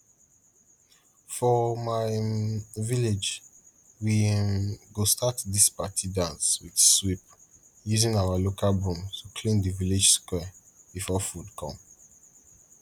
for my um village we um go start dis party dance with sweep using our local broom to clean d village square before food come